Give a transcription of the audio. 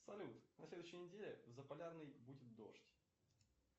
салют на следующей неделе в заполярный будет дождь